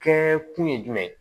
Kɛ kun ye jumɛn ye